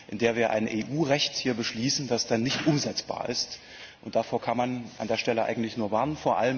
in der wir hier ein EU Recht beschließen, das dann nicht umsetzbar ist, und davor kann man an dieser Stelle eigentlich nur warnen.